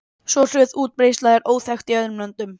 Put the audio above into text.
Svo hröð útbreiðsla er óþekkt í öðrum löndum.